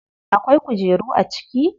Akwai kujeru a ciki?